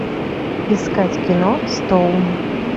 искать кино стоун